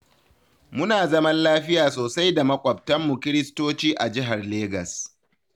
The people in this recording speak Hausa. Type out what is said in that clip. Muna zaman lafiya sosai da maƙwabtanmu kiristoci a jihar Legas.